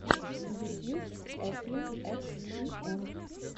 ютьюб эфлин экс ти эм